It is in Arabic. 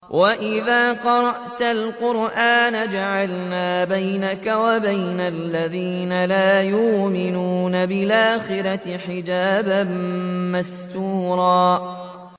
وَإِذَا قَرَأْتَ الْقُرْآنَ جَعَلْنَا بَيْنَكَ وَبَيْنَ الَّذِينَ لَا يُؤْمِنُونَ بِالْآخِرَةِ حِجَابًا مَّسْتُورًا